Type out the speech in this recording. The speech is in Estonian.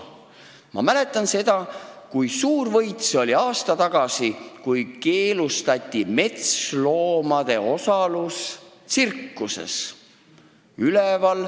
Ma mäletan seda, kui suur võit oli aasta tagasi see, kui keelustati metsloomade osalus tsirkuses.